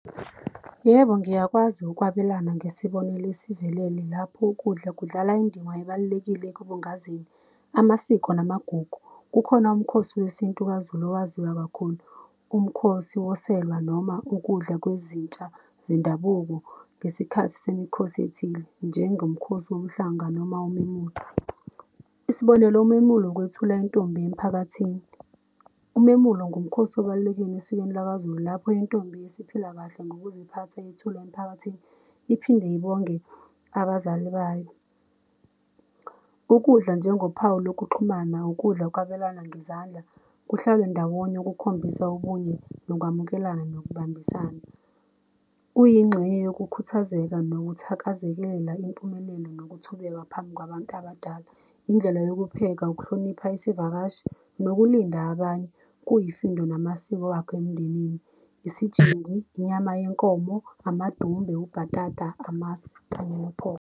Yebo, ngiyakwazi ukwabelana ngesibonelo esivelele lapho ukudla kudlala indima ebalulekile ekubungaze amasiko namagugu. Kukhona umkhosi wesintu kwaZulu owaziwa kakhulu umkhosi woselwa noma ukudla kwezitsha zendabuko ngesikhathi semikhosi ethile njengomkhosi womhlanga noma umemulo, isibonelo umemulo ukwethula intombi emiphakathini. Umemulo ngumkhosi obalulekile esikweni lakwaZulu lapho intombi isiphila kahle ngokuziphatha yethulwa emphakathini iphinde ibonge abazali bayo. Ukudla njengophawu lokuxhumana, ukudla ukwabelana ngezandla kuhlalwe ndawonye ukukhombisa obunye nokwamukelana nokubambisana. Kuyingxenye yokukhuthazeka nokuthakazekela impumelelo nokuthobeka phambi kwabantu abadala. Indlela yokupheka ukuhlonipha isivakashi nokulinda abanye kuyifindo namasiko wakho emndenini. Isijingi, inyama yenkomo, amadumbe, ubhatata, amasi kanye .